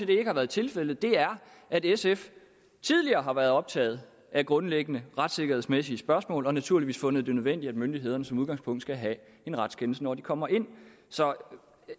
det ikke har været tilfældet er at sf tidligere har været optaget af grundlæggende retssikkerhedsmæssige spørgsmål og naturligvis fundet det nødvendigt at myndighederne som udgangspunkt skal have en retskendelse når de kommer ind så